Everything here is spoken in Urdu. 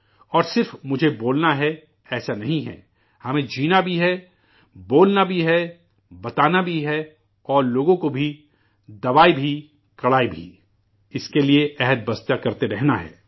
اور صرف مجھے بولنا ہے ایسا نہیں ! ہمیں جینا بھی ہے، بولنا بھی ہے، بتانا بھی ہے اور لوگوں کو بھی، 'دوائی بھی، کڑائی بھی'، اسکے لیے، عہد پر بھی قائم رہنا ہے